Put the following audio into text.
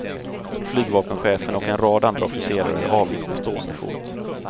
Flygvapenchefen och en rad andra officerare avgick på stående fot.